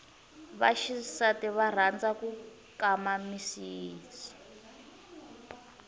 vaxisati va rhanza ku ti kama misidi